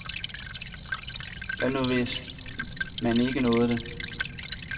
Hvad nu hvis man ikke nåede det?